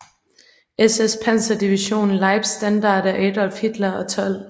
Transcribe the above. SS Panserdivision Leibstandarte Adolf Hitler og 12